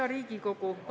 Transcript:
Hea Riigikogu!